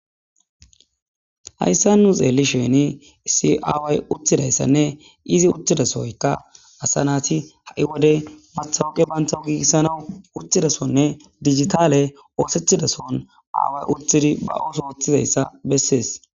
Hayssa nu xeelli sheeni siaaway uttidayssanne izi uttidasoyka asa naati ha7i wode mathawuqe banta giikissana urtidasonne digitaale oosethidason aaway urtidi ba7uso oththizayssa bessees.